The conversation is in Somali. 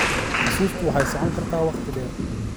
Xusuustu waxay socon kartaa waqti dheer.